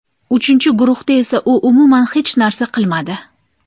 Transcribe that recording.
Uchinchi guruhda esa u umuman hech narsa qilmadi.